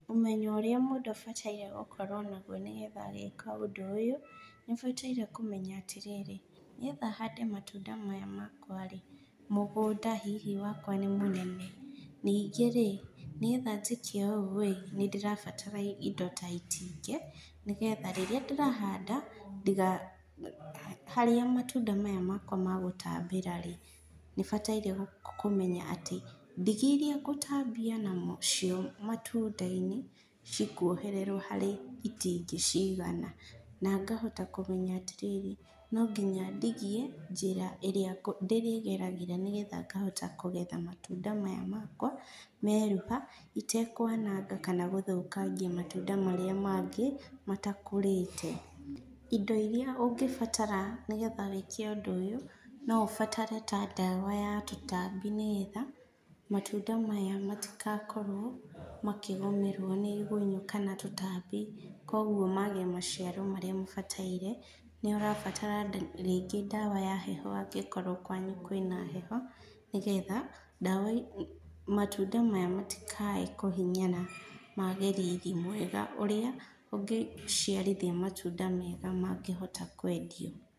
Ũmenyo ũrĩa mũndũ abataire gũkorwo naguo nĩgetha gwĩka ũndũ ũyũ, nĩũbataire kũmenya atĩrĩri, nĩgetha hande matunda maya makwa rĩ, mũgũnda hihi wakwa nĩ mũnene? ningĩ rĩ? nĩgetha njĩke ũũ rĩ, nĩndĩrabatara indo ta itingĩ, nĩgetha rĩrĩa ndĩrahanda, ndiga harĩa matunda maya makwa magũtambĩra rĩ, nĩbataire kũmenya atĩ, ndigi iria ngũtambia namo nacio matundainĩ, cikuohererwo harĩ itingĩ cigana. Na ngahota kũmenya atĩrĩrĩ, no nginya ndigie, njĩra ĩrĩa ndĩrĩgeragĩra nĩgetha ngahota kũgetha matunda maya makwa, meruha, itekwananga kana gũthũkangia matunda marĩa mangĩ matakũrĩte. Indo iria ũngĩbatara nĩgetha wĩke ũndũ ũyũ, no ũbatare ta ndawa ya tũtambi nĩgetha, matunda maya matĩka korwo, makĩgũmĩrwo nĩ igunyũ kana tũtambi. Koguo mage maciaro marĩa mabataire, nĩũrabatara rĩngĩ ndawa ya heho angĩkorwo kwanyu kwĩna heho, nĩgetha ndawa matunda maya matikae kũhinyara mage riri mwega ũrĩa, ũngĩciarithia matunda mega mangĩhota kwendio.